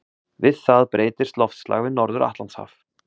Við það breytist loftslag við Norður-Atlantshaf.